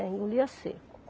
É, engolia seco.